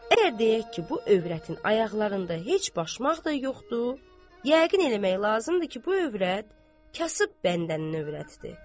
Əgər deyək ki, bu övrətin ayaqlarında heç başmaq da yoxdur, yəqin eləmək lazımdır ki, bu övrət kasıb bəndənin övrətidir.